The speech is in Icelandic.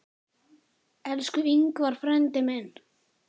Elsku Ingvar frændi minn.